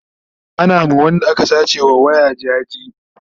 Ana ma Wanda aka sace wa waya jaje